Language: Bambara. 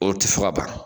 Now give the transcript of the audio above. O tɛ fɔ ka ban